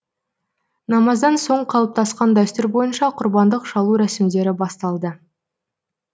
намаздан соң қалыптасқан дәстүр бойынша құрбандық шалу рәсімдері басталды